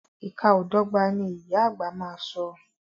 Ìka o dọ́gba, ni ìyá àgbà má a so.